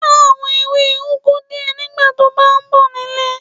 Já àwọn ewé úgu díẹ̀ nígbà to bá ń bọ̀ nílé.